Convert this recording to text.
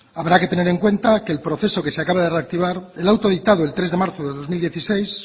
habrá que tener en cuenta que el proceso que se acaba de reactivar el auto dictado el tres de marzo del dos mil dieciséis